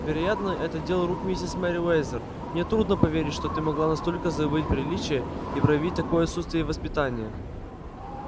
вероятно это дело рук миссис мерриуэзер мне трудно поверить что ты могла настолько забыть приличия и проявить такое отсутствие воспитания